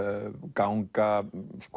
ganga